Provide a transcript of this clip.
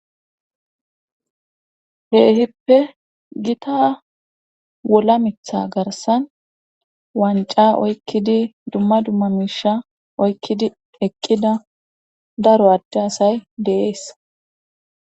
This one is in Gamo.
Keehippe gita wola mitha garsan wanca oykkidi dumma dumma miisha oykkidi eqqida daro adde asay deees.